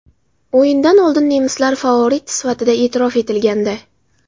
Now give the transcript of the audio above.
O‘yindan oldin nemislar favorit sifatida e’tirof etilgandi.